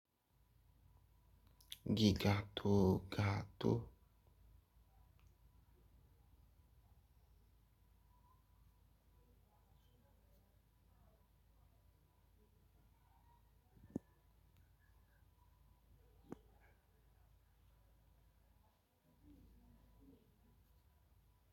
Ǹkan tó ga tó.